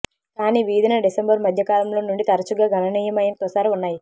కానీ వీధి న డిసెంబరు మధ్యకాలంలో నుండి తరచుగా గణనీయమైన తుషార ఉన్నాయి